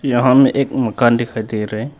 यहां में एक मकान दिखाई दे रहे हैं।